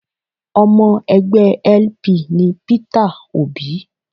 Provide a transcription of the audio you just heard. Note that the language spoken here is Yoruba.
Ọmọ ẹgbẹ́ LP ni Peter Òbí